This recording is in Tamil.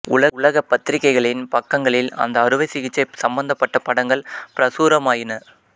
உலக பத்திரிக்கைகளின் பக்கங்களில் அந்த அறுவை சிகிச்சை சம்பந்தபட்ட படங்கள் பிரசுரமாயின